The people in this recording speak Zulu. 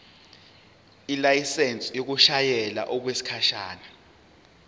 ilayisensi yokushayela okwesikhashana